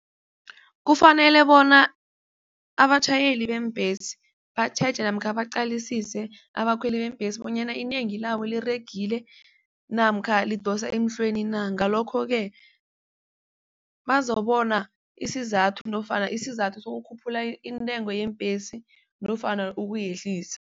Kufanele bona abatjhayeli beembhesi batjheje namkha baqalisise abakhweli beembhesi bonyana inengi labo liregile namkha lidosa emhlweni na? Ngalokho-ke bazobona isizathu nofana isizathu sokukhuphula intengo yebhesi nofana ukuyehlisa.